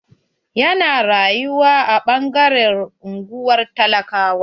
Ya na rayuwa a ɓangaren unguwar talakawa.